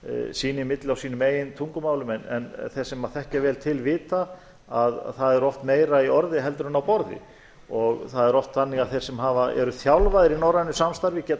sín á milli á sínum eigin tungumálum en þeir sem þekkja vel til vita að það er oft meira í orði heldur en á borði og það er oft þannig að þeir sem eru þjálfaðir í norrænu samstarfi geta